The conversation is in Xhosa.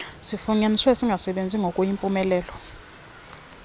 sifunyaniswe singasebenzi ngokuyimpumelelo